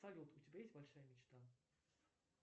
салют у тебя есть большая мечта